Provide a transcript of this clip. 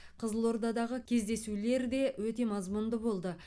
қызылордадағы кездесулер де өте мазмұнды болды